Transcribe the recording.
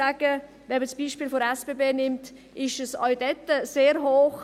Wenn man das Beispiel der SBB nimmt, ist es auch dort sehr hoch.